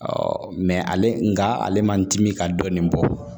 ale nga ale man dimi ka dɔɔnin bɔ